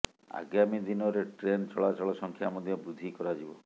ଆଗାମୀ ଦିନରେ ଟ୍ରେନ୍ ଚଳାଚଳ ସଂଖ୍ୟା ମଧ୍ୟ ବୃଦ୍ଧି କରାଯିବ